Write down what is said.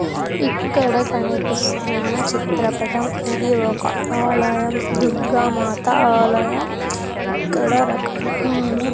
ఇక్కడ కనిపిస్తున్న చిత్రపటం ఇది ఒక ఆలయం దుర్గా మాత ఆలయం. ఇక్కడ రకరకాల --